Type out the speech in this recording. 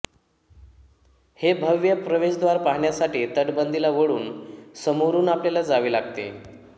हे भव्य प्रवेशद्वार पहाण्यासाठी तटबंदीला वळून समोरुन आपल्याला जावे लागते